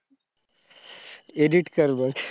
edit कर मंग